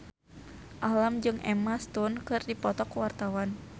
Alam jeung Emma Stone keur dipoto ku wartawan